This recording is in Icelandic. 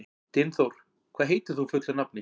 Dynþór, hvað heitir þú fullu nafni?